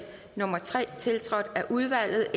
nummer tre tiltrådt af udvalget